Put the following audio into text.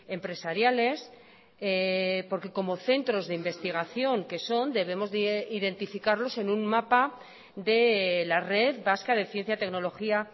empresariales porque como centros de investigación que son debemos de identificarlos en un mapa de la red vasca de ciencia tecnología